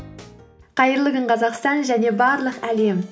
қайырлы күн қазақстан және барлық әлем